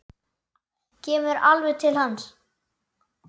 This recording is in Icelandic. Kemur alveg til hans.